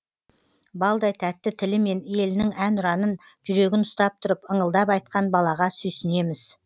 балдай тәтті тілімен елінің әнұранын жүрегін ұстап тұрып ыңылдап айтқан балаға сүйсінеміз